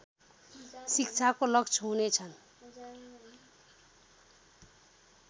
शिक्षाको लक्ष्य हुनेछन्